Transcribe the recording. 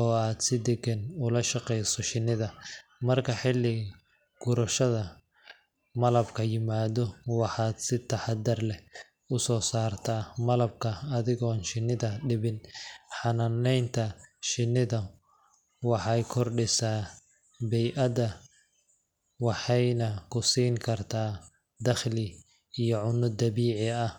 oo aad si degan ula shaqeyso shinnida. Marka xilli gurashada malabku yimaado, waxaad si taxaddar leh u soo saartaa malabka adigoon shinnida dhibin. Xanaanaynta shinnidu waxay kordhisaa bey’adda, waxayna ku siin kartaa dakhli iyo cunno dabiici ah.